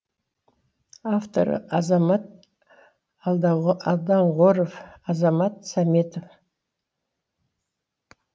авторлары азамат алдоңғаров азамат сәметов